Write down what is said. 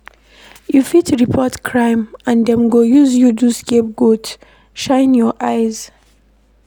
You fit report crime and dem go use you do scape goat, shine your eyes.